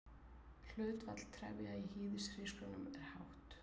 Hlutfall trefja í hýðishrísgrjónum er hátt.